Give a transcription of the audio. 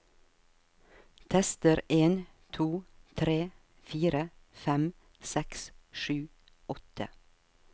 Tester en to tre fire fem seks sju åtte